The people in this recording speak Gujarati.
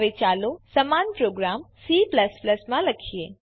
હવે ચાલો સમાન પ્રોગ્રામ C માં લખીએ